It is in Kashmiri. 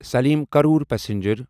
سلیم کرٛور پسنجر